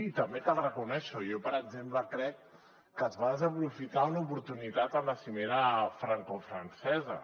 i també cal reconèixer ho jo per exemple crec que es va desaprofitar una oportunitat a la cimera francofrancesa